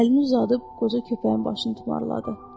Əlini uzadıb qoca köpəyin başını tumarladı.